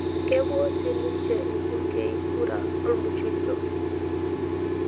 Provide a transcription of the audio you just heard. Kepuo siiniche ilbungei kura olmuchujo.